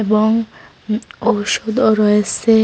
এবং উ ঔষুধও রয়েসে।